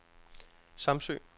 Samsø